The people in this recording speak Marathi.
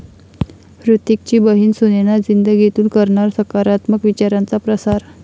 हृतिकची बहिण सुनैना 'जिंदगी'तून करणार सकारात्मक विचारांचा प्रसार